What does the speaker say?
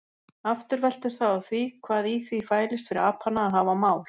Aftur veltur það á því hvað í því fælist fyrir apana að hafa mál.